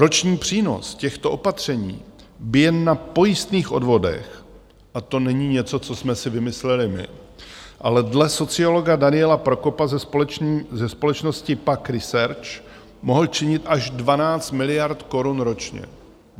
Roční přínos těchto opatření by jen na pojistných odvodech, a to není něco, co jsme si vymysleli my, ale dle sociologa Daniela Prokopa ze společnosti PAQ Research mohl činit až 12 miliard korun ročně.